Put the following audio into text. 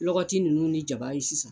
Lɔgɔti ninnu ni jaba ye sisan.